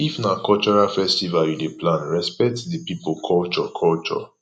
if na cultural festival you dey plan respect di pipo culture culture